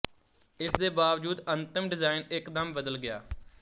ਇਸ ਦੇ ਬਾਵਜੂਦ ਅੰਤਮ ਡਿਜ਼ਾਈਨ ਇਕਦਮ ਬਦਲ ਗਿਆ